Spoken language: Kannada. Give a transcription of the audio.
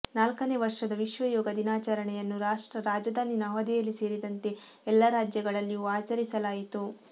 ನಾಲ್ಕನೇ ವರ್ಷದ ವಿಶ್ವ ಯೋಗ ದಿನಾಚರಣೆಯನ್ನು ರಾಷ್ಟ್ರ ರಾಜಧಾನಿ ನವದೆಹಲಿ ಸೇರಿದಂತೆ ಎಲ್ಲಾ ರಾಜ್ಯಗಳಲ್ಲಿಯೂ ಆಚರಿಸಲಾಯಿತು